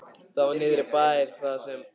Það var niðri í miðbæ, þar sem